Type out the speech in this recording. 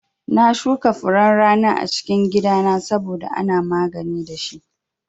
Na shuka furen rana a cikin gida na saboda ana magani dashi